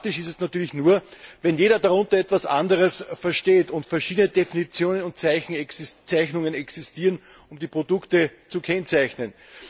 Problematisch ist es natürlich nur, wenn jeder darunter etwas anderes versteht und verschiedene Definitionen und Zeichnungen existieren, um die Produkte zu kennzeichnen.